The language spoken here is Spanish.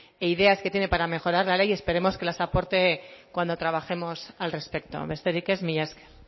e ideas que tiene para mejorar la ley esperemos que las aporte cuando trabajemos al respecto besterik ez mila esker